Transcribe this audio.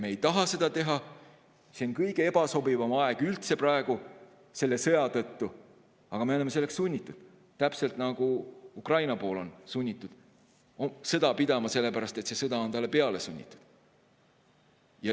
Me ei taha seda teha, see on kõige ebasobivam aeg üldse praegu selle sõja tõttu, aga me oleme selleks sunnitud, täpselt nagu Ukraina on sunnitud sõda pidama, sellepärast et see sõda on talle peale sunnitud.